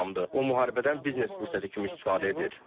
O müharibədən biznes fürsəti kimi istifadə edir.